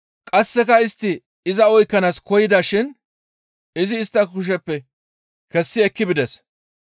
Qasseka istti iza oykkanaas koyida shin izi istta kusheppe kessi ekki bides.